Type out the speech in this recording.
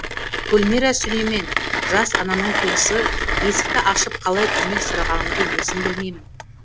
гүлмира сүлеймен жас ананың туысы есікті ашып қалай көмек сұрағанымды өзім білмеймін